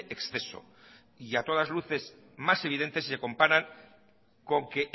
exceso y a todas luces más evidente si se compara con que